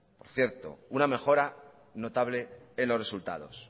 por cierto una mejora notable en los resultados